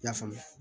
I y'a faamu